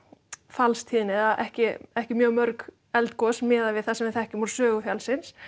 gjóskufallstíðni eða ekki ekki mjög mörg eldgos miðað við það sem við þekkjum úr sögu fjallsins